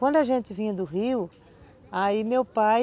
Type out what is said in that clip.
Quando a gente vinha do Rio, aí meu pai